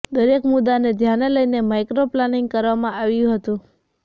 દરેક મુદ્દાને ધ્યાને લઇને માઇક્રો પ્લાનીંગ કરવામાં આવ્યું હતું